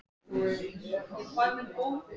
Já Já Hver er uppáhalds platan þín?